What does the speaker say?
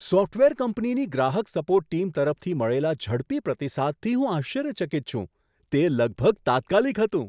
Software કંપનીની ગ્રાહક support team તરફથી મળેલા ઝડપી પ્રતિસાદથી હું આશ્ચર્યચકિત છું. તે લગભગ તાત્કાલિક હતું!